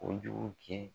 Ko jugu kɛ